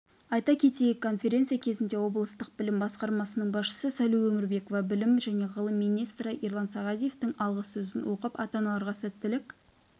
айта кетейік конференция кезінде облыстық білім басқармасының басшысы сәуле өмірбекова білім және ғылым министрі ерлан сағадиевтің алғы сөзін оқып ата-аналарға сәттілік